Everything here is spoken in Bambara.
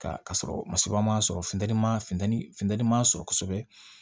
Ka ka sɔrɔ masɔrɔ ma sɔrɔ funteni man funteni funtɛni ma sɔrɔ kosɛbɛ